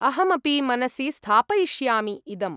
अहमपि मनसि स्थापयिष्यामि इदम्।